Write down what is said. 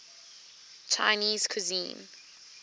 chinese cuisine